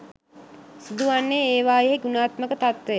සිදුවන්නේ ඒවායෙහි ගුණාත්මක තත්වය